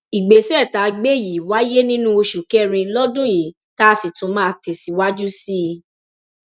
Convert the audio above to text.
ìgbésẹ tá a gbé yìí wáyé nínú oṣù kẹrin lọdún yìí tá a sì tún máa tẹsíwájú sí i